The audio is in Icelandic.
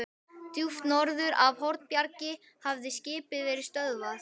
Djúpt norður af Hornbjargi hafði skipið verið stöðvað.